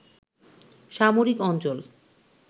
সামরিক অঞ্চল